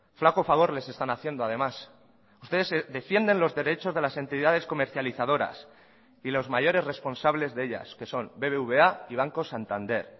flaco favor les están haciendo además ustedes defienden los derechos de las entidades comercializadoras y los mayores responsables de ellas que son bbva y banco santander